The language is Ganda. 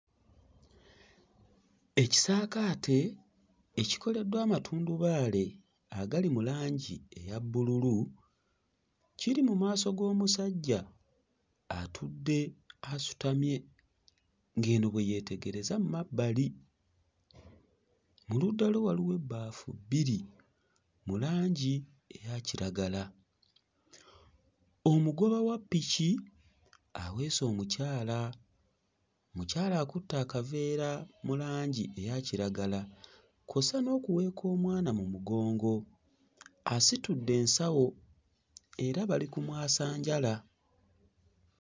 Ekisaakaate ekikoleddwa amatundubaali agali mu langi eya bbululu kiri mu maaso g'omusajja atudde asitamye ng'eno bwe yeetegereza mu mabbali. Mu ludda lwe waliwo ebbaafu bbiri mu langi eyakiragala. Omugoba wa ppiki aweese omukyala. Omukyala akutte akaveera mu langi eya kiragala kw'ossa n'okuweeka omwana mu mugongo. Asitudde ensawo era bali ku mwasanjala.